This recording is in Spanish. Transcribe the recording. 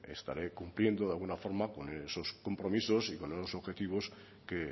estaré cumpliendo de alguna forma con esos compromisos y con esos objetivos que